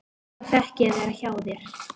Þá fékk ég að vera hjá þér.